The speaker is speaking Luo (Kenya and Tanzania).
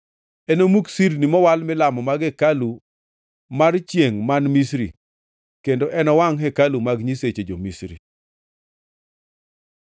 Enomuk sirni mowal milamo mag hekalu mar chiengʼ man Misri kendo enowangʼ hekalu mag nyiseche jo-Misri.’ ”